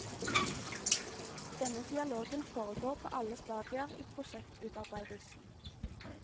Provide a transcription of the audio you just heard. Denne dialogen foregår på alle stadier i prosjektutarbeidelsen.